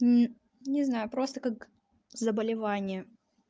не знаю просто как заболевание